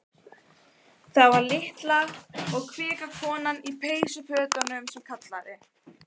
Það var litla og kvika konan í peysufötunum sem kallaði.